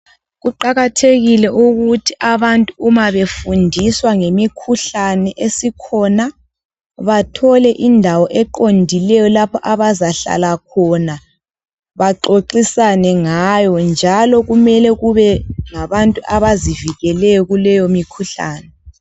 Kuqakathekile ukuthi abantu uma befundiswa ngemikhuhlane esikhona bathole indawo eqondileyo lapho abazahlala khona baxoxisane ngayo njalo kumele kube ngabantu abazivikeleyo kuleyo mikhuhlane.